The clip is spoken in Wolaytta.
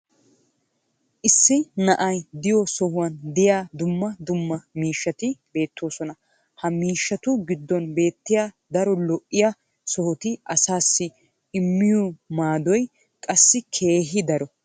issi na'ay diyo sohuwan diya dumma dumma miishshati beetoosona. ha miishshatu giddon beettiya daro lo'iya sohoti asaassi immiyo maaadoy qassi keehi daro.